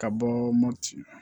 Ka bɔ mopti